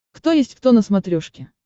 кто есть кто на смотрешке